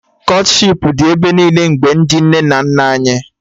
Kọtshipu dị ebe niile mgbe ndị nne na nna anyị